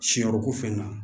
Siyɔ ko fɛn na